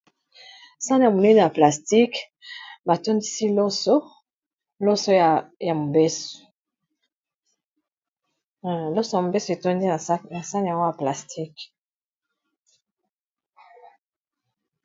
Sani monene ya plastique batondisi loso ya mobeso etondi na sane yago ya plastique.